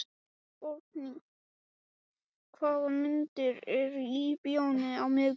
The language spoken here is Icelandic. Borgný, hvaða myndir eru í bíó á miðvikudaginn?